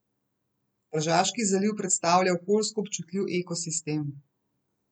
Tržaški zaliv predstavlja okoljsko občutljiv ekosistem.